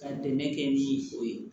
Ka dɛmɛ kɛ ni o ye